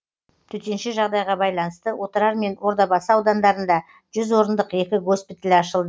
төтенше жағдайға байланысты отырар мен ордабасы аудандарында жүз орындық екі госпиталь ашылды